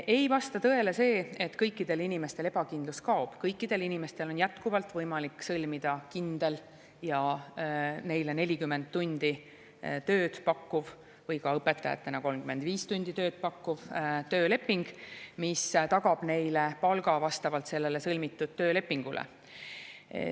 Ei vasta tõele see, et kõikidel inimestel kaob, kõikidel inimestel on jätkuvalt võimalik sõlmida kindel ja neile 40 tundi tööd pakkuv või ka õpetajatele 35 tundi tööd pakkuv tööleping, mis tagab neile palga vastavalt sellele sõlmitud töölepingule.